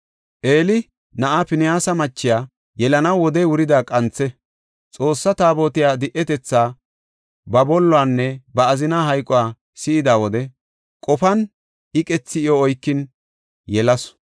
Eeli na7aa Pinihaasa machiya yelanaw wodey wurida qanthe. Xoossaa Taabotey di7etetha, ba bolluwanne ba azinaa hayquwa si7ida wode qoponna iqethi iyo oykin yelasu.